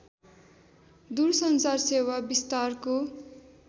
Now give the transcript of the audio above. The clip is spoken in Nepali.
दूरसञ्चार सेवा विस्तारको